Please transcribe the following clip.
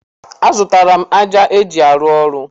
A zụtala m ájá eji arụ ọrụ.